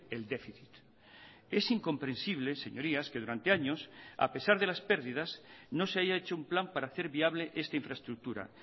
el déficit es incomprensible señorías que durante años a pesar de las pérdidas no se haya hecho un plan para hacer viable esta infraestructura